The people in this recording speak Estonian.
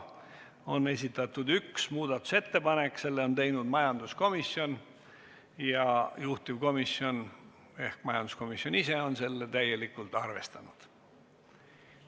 On esitatud üks muudatusettepanek, selle on teinud majanduskomisjon ja juhtivkomisjon ehk majanduskomisjon ise on seda täielikult arvestanud.